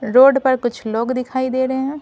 Road पर कुछ लोग दिखाई दे रहे हैं।